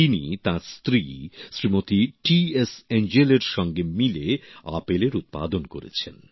তিনি তাঁর স্ত্রী শ্রীমতি টি এস এঞ্জেলএর সঙ্গে মিলে আপেলের উৎপাদন করেছেন